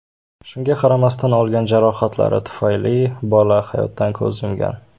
Shunga qaramasdan, olgan jarohatlari tufayli bola hayotdan ko‘z yumgan.